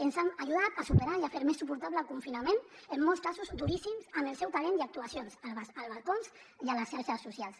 ens han ajudat a superar i a fer més suportable el confinament en molts casos duríssims amb el seu talent i actuacions als balcons i a les xarxes socials